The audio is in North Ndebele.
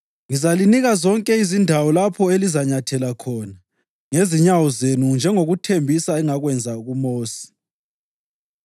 Ngizalinika zonke izindawo lapho elizanyathela khona ngezinyawo zenu njengokuthembisa engakwenza kuMosi.